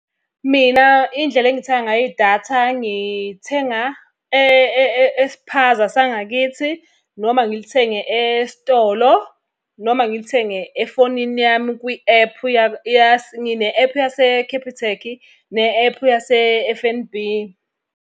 Mina indlela engithenga ngayo idatha, ngithenga espaza sangakithi noma ngilithenge esitolo noma ngilithenge efonini yami kwi-ephu , ngine-ephu yase-Capitec ne-ephu yase-F_N_B.